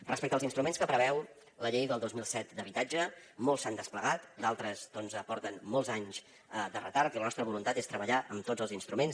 respecte als instruments que preveu la llei del dos mil set d’habitatge molts s’han desplegat d’altres doncs porten molts anys de retard i la nostra voluntat és treballar amb tots els instruments